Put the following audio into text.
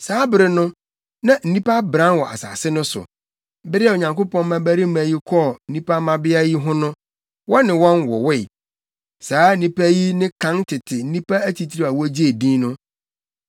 Saa bere no, na nnipa abran wɔ asase no so. Bere a Onyankopɔn mmabarima yi kɔɔ nnipa mmabea yi ho no, wɔne wɔn wowoe. Saa nnipa yi ne kan tete nnipa atitiriw a wogyee din no.